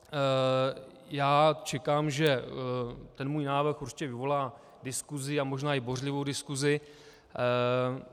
Já čekám, že ten můj návrh určitě vyvolá diskusi a možná i bouřlivou diskusi.